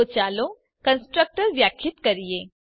તો ચાલો કન્સ્ટ્રક્ટર વ્યાખ્યાયિત કરીએ